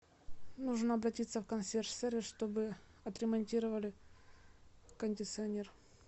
нужно обратиться в консьерж сервис чтобы отремонтировали кондиционер